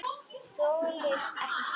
Þolirðu ekki Sæma?